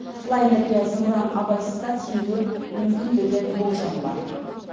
лайнерге зымыран абайсызда тиюі мүмкін деген болжам бар